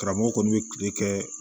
Karamɔgɔ kɔni bɛ kile kɛ